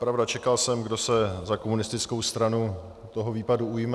Pravda, čekal jsem, kdo se za komunistickou stranu toho výpadu ujme.